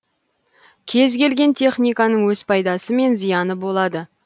кез келген техниканың өз пайдасы мен зияны болады